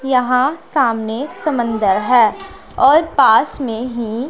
यहां सामने समंदर है और पास में ही --